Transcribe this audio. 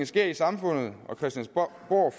sker i samfundet og christiansborg